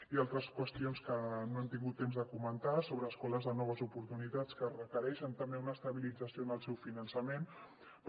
hi ha altres qüestions que no hem tingut temps de comentar sobre escoles de noves oportunitats que requereixen també una estabilització en el seu finançament però